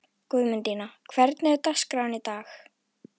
Guðmundína, hvernig er dagskráin í dag?